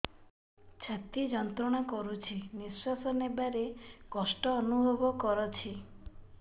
ଛାତି ଯନ୍ତ୍ରଣା କରୁଛି ନିଶ୍ୱାସ ନେବାରେ କଷ୍ଟ ଅନୁଭବ କରୁଛି